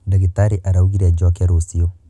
Ndagitarĩ araugire njoke rũciũ.